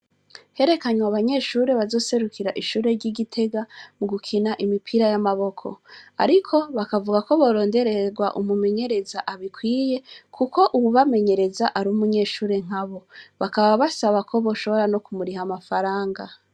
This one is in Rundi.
Herekanywe abanyeshure bazoserukira ishure ryi Gitega mu gukina imipira yamaboko ariko bakavugako boronderererwa umumunyereza abikwiye kuko uwubamenyereza ari umunyeshure nkabo bakaba basaba ko boshobora no kumuriha amafaranga.